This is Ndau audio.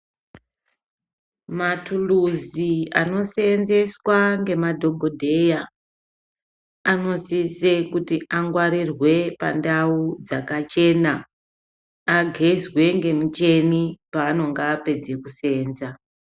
Matuluzi anoseenzeswa ngemadhogodheya anosise kuti angwarirwe pandau dzakachena. Agezwe ngemichini paanonga apedze kuseenza.